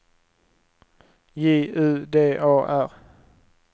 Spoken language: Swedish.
J U D A R